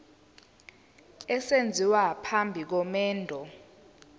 esenziwa phambi komendo